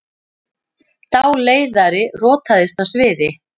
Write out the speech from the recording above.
Dáleiðari rotaðist á sviði